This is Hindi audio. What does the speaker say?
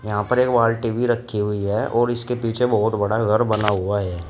यहाँ पर एक बाल्टी भी रखी हुई है और इसके पीछे बहुत बड़ा घर बना हुआ है।